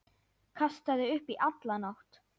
Kastaði upp í alla nótt.